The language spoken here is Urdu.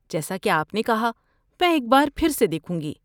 جیسا کہ آپ نے کہا میں ایک بار پھر سے دیکھوں گی۔